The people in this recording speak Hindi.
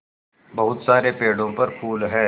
बहुत सारे पेड़ों पर फूल है